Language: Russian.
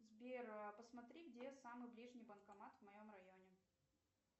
сбер а посмотри где самый ближний банкомат в моем районе